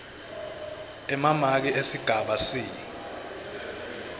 emamaki esigaba c